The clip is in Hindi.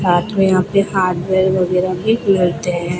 साथ में यहां पे हार्डवेयर वगैरह भी मिलते हैं।